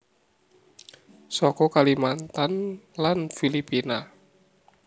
Saka Kalimantan lan Filipina